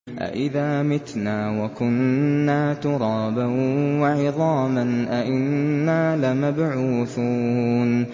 أَإِذَا مِتْنَا وَكُنَّا تُرَابًا وَعِظَامًا أَإِنَّا لَمَبْعُوثُونَ